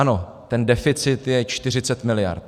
Ano, ten deficit je 40 miliard.